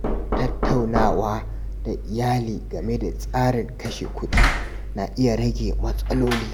Tattaunawa da iyali game da tsarin kashe kuɗi na iya rage matsaloli.